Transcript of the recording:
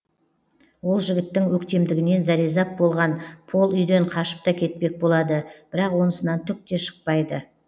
ол жігіттің өктемдігінен зәрезап болған пол үйден қашып та кетпек болады бірақ онысынан түк те шықпайды